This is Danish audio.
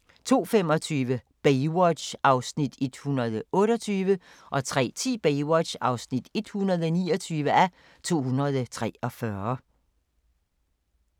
02:25: Baywatch (128:243) 03:10: Baywatch (129:243)